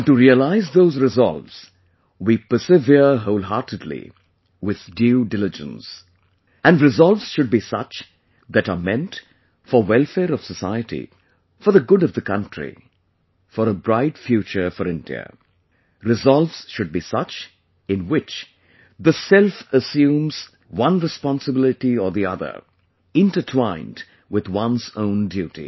and to realize those resolves, we persevere wholeheartedly with due diligence...and resolves should be such that are meant for welfare of society, for the good of the country, for a bright future for India...resolves should be such in which the self assumes one responsibility or the other...intertwined with one's own duty